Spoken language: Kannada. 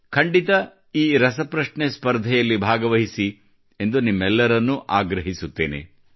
ಖಂಡಿತ ಈ ರಸಪ್ರಶ್ನೆಯಲ್ಲಿ ಭಾಗವಹಿಸಿ ಎಂದು ನಿಮ್ಮೆಲ್ಲರಿಗೆ ಆಗ್ರಹಿಸುತ್ತೇನೆ